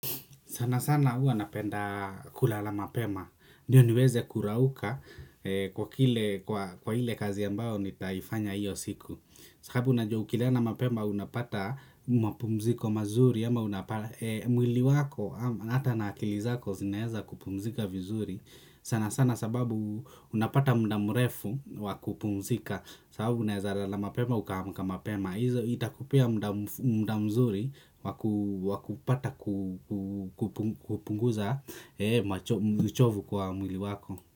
Sana sana, huwa napenda kulala mapema ndiyo niweze kurauka kwa kile kwa ile kazi ambayo nitaifanya hiyo siku. Sababu unajua ukilala mapema unapata mapumziko mazuri ama unapata mwili wako au hata na akili zako zinaeza kupumzika vizuri. Sana sana sababu unapata muda mrefu wa kupumzika sababu unaeza lala mapema ukaamka mapema, hivyo itakupea muda mzuri wa kupata kupumzika kupunguza uchovu kwa mwili wako.